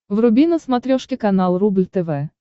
вруби на смотрешке канал рубль тв